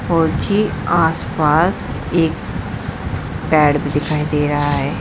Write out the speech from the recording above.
और ये आस पास एक पेड़ भी दिखाई दे रहा है।